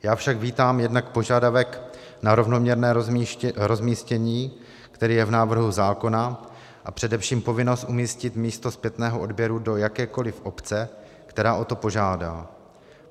Já však vítám jednak požadavek na rovnoměrné rozmístění, který je v návrhu zákona, a především povinnost umístit místo zpětného odběru do jakékoli obce, která o to požádá.